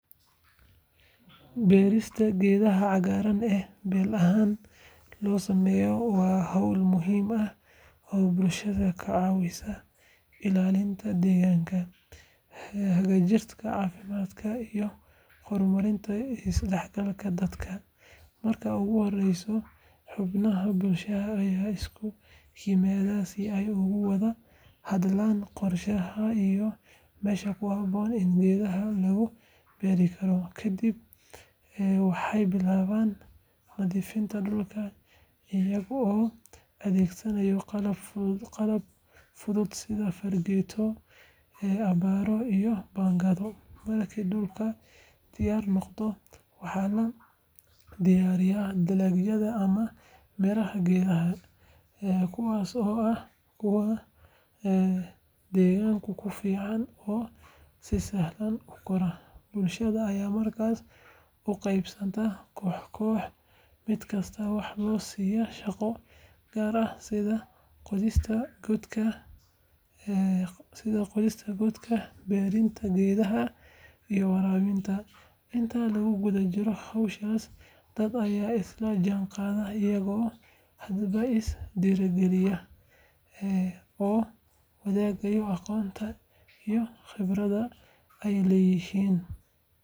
Beerista geedaha cagaaran ee beel ahaan loo sameeyo waa hawl muhiim ah oo bulshada ka caawisa ilaalinta deegaanka, hagaajinta caafimaadka iyo horumarinta isdhexgalka dadka. Marka ugu horreysa, xubnaha bulshada ayaa isugu yimaada si ay uga wada hadlaan qorshaha iyo meesha ku habboon ee geedaha lagu beeri karo. Kadib, waxay bilaabaan nadiifinta dhulka, iyaga oo adeegsanaya qalab fudud sida fargeeto, abbaaro iyo baangado. Markii dhulku diyaar noqdo, waxa la diyaariyaa dalagyada ama miraha geedaha, kuwaasoo ah kuwa deegaanka u fiican oo si sahlan u kora. Bulshada ayaa markaas u qaybsanta koox-koox, mid kastana waxa la siiya shaqo gaar ah sida qodista godadka, beerista geedaha, iyo waraabinta. Inta lagu guda jiro hawshaas, dadka ayaa isla jaanqaada iyagoo hadba is dhiirrigelinaya oo wadaagaya aqoonta iyo khibradda ay leeyihiin.